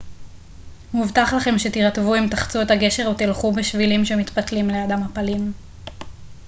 מובטח לכם שתירטבו אם תחצו את הגשר או תלכו בשבילים שמתפתלים ליד המפלים